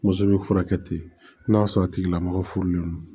Muso bɛ furakɛ ten n'a sɔrɔ a tigilamɔgɔ furulen don